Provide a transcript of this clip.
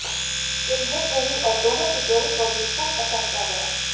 film hit रही और दोनों की जोड़ी को भी खूब पसंद किया गया